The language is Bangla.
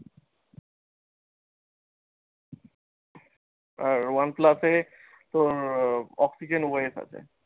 আর one plus এ আহ optical OIS আছে।